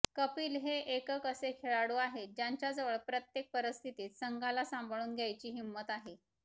कपिल हे एकक असे खेळाडू आहेत ज्यांच्याजवळ प्रत्येक परिस्थितीत संघाला सांभाळून घ्यायची हिंमत आहे